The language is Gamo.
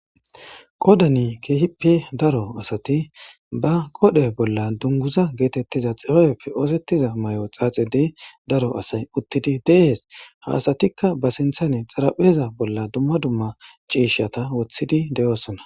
qodani keehipe daro asati ba qodhe bolla dunguza geetettiza xiyoyeppe oosettiza may7o xaaxidiy daro asay uttidi deehes haasatikka ba sinthane xarapheza bolla dumma dumma ciishshata woththidi de7oossona